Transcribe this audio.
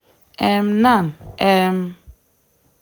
um nan um